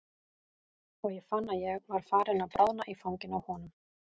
Og ég fann að ég var farin að bráðna í fanginu á honum.